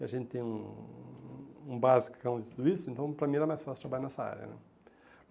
E a gente tem um um basicão de tudo isso, então para mim era mais fácil trabalhar nessa área, né?